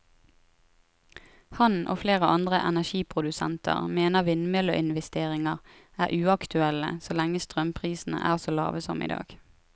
Han og flere andre energiprodusenter mener vindmølleinvesteringer er uaktuelle så lenge strømprisene er så lave som i dag.